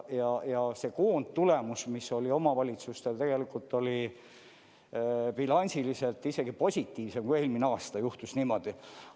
Ja see koondtulemus, mis oli omavalitsustel, tegelikult oli bilansiliselt isegi positiivsem kui eelmine aasta – juhtus niimoodi.